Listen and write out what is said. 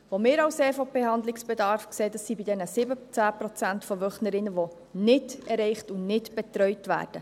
Wir von der EVP sehen Handlungsbedarf bei diesen 17 Prozent Wöchnerinnen, die nicht erreicht und nicht betreut werden.